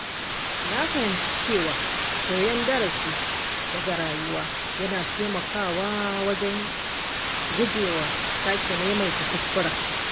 Na fahimci cewa koyan darasi daga rayuwa yana taimakawa wajen gujewa sake maimaita kuskure.